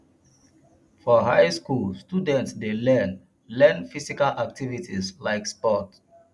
for high school students de learn learn physical activities like sports